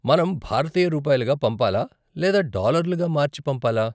మనం భారతీయ రూపాయలుగా పంపాలా, లేదా డాలర్లుగా మార్చి పంపాలా?